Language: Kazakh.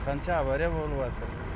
қанша авария болыватыр